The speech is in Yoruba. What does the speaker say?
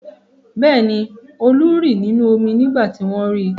Bẹ́ẹ̀ ni, Olú rì nínú omi nígbà tí wọ́n ri.